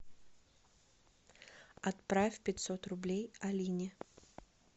отправь пятьсот рублей алине